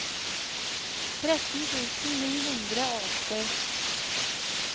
tretten tusen ni hundre og åtti